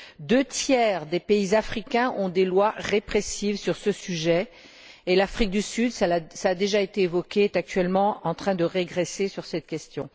Deux tiers des pays africains ont des lois répressives sur ce sujet et l'Afrique du Sud cela a déjà été évoqué est actuellement en train de régresser sur cette question.